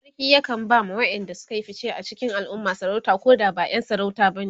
sarki yakan ba ma waƴanda Suka Yi fice a cikin alumma sarauta Koda ba ƴan sarauta bane